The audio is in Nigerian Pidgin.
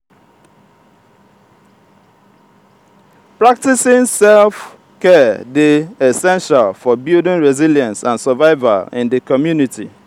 practicing self-care dey essential for building resilience and survival in di community.